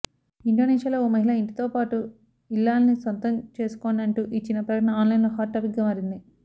ఇండోనేషియాలో ఓ మహిళ ఇంటితో పాటు ఇల్లాలిని సొంతం చేసుకోండంటూ ఇచ్చిన ప్రకటన ఆన్లైన్లో హాట్ టాపిక్గా మారింది